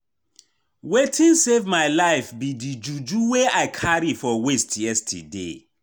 Wetin save my life be the juju wey I carry for waist yesterday